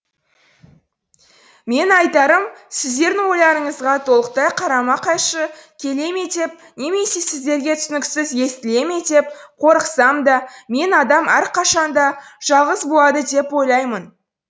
менің айтарым сіздердің ойларыңызға толықтай қарама қайшы келе ме деп немесе сіздерге түсініксіз естіле ме деп қорықсам да мен адам әрқашан да жалғыз болады деп ойлаймын